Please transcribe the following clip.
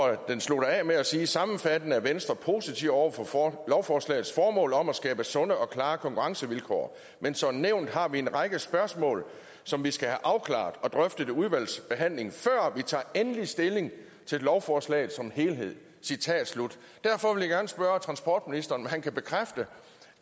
slutter af med at sige sammenfattende er venstre positiv over for lovforslagets formål om at skabe sunde og klare konkurrencevilkår men som nævnt har vi en række spørgsmål som vi skal have afklaret og drøftet i udvalgsbehandlingen før vi tager endelig stilling til lovforslaget som helhed derfor vil jeg gerne spørge transportministeren om han kan bekræfte